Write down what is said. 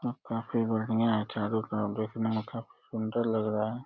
अब काफी बढ़िया है। चारों तरफ देखने में काफी सुंदर लग रहा है।